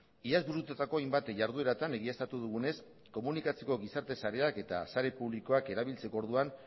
iaz burututako hainbat jardueratan egiaztatu dugunez komunikatzeko gizarte sareak eta sare publikoak erabiltzeko orduan